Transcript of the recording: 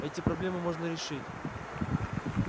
эти проблемы можно решить